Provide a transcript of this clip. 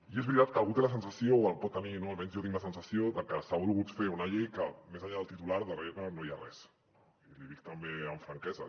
i és veritat que algú té la sensació o la pot tenir no almenys jo tinc la sensació de que s’ha volgut fer una llei que més enllà del titular darrere no hi ha res i l’hi dic també amb franquesa